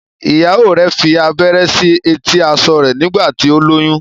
ìyàwó rẹ fí abẹrẹ sí eti aṣọ rẹ nígbà tí o lóyún.